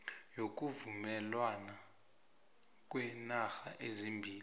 yokuvumelwana kweenarha ezimbili